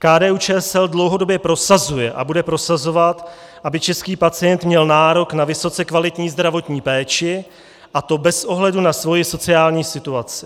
KDU-ČSL dlouhodobě prosazuje a bude prosazovat, aby český pacient měl nárok na vysoce kvalitní zdravotní péči, a to bez ohledu na svoji sociální situaci.